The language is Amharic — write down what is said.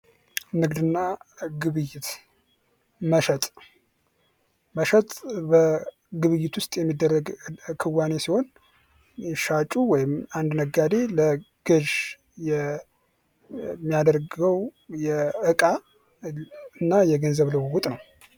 ንግድና ግብይት መሸጥ በግብይት ውስጥ የሚደረግ ክዋኔ ሲሆን ሻጩ ወይም አንድ ነጋዴ ለገዥ ው የሚያደርገው የእዕቃ እና የገንዘብ ልውውጥ ነው።